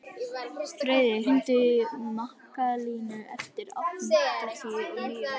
Friðey, hringdu í Mikkalínu eftir áttatíu og níu mínútur.